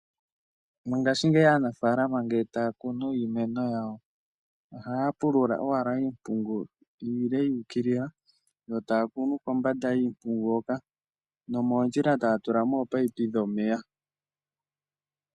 Mongashiingeyi aanafalama ngele taakunu iimeno yawo ohaya pulula owala iipungu iile yuukilila, yo taya kunu kombanda yiipungu hoka nomoondjila taya tula mo oopaipi dhomeya.